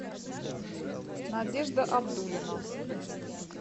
надежда абдулина